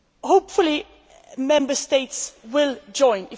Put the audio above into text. Hopefully Member States will join.